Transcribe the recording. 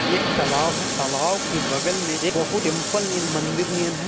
एक तलाव है तलाव तलाब के बगल में एक बहु-- है।